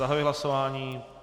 Zahajuji hlasování.